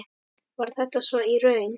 Var þetta svo í raun?